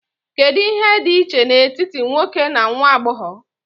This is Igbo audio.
Kedu ihe dị iche n'etiti nwoke na nwa agbọghọ?